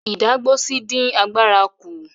Ìdágbósí dín àgbàrá kú.